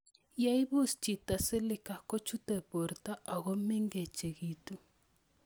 Ye ipus chito Silica kochute porto ako meng'echitu